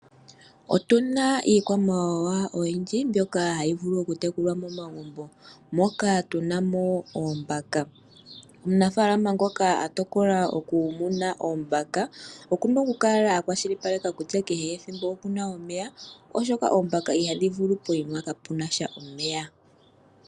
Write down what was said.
Otu na iikwamawawa oyindji mbyoka hayi vulu okutekulwa momagumbo, moka tu na mo oombaka. Omunafaalama ngoka a tokola okumuna oombaka oku na okukala a kwashilipaleka kutya kehe ethimbo oku na omeya, oshoka oombaka ihadhi vulu pokuma kapu na sha omeya.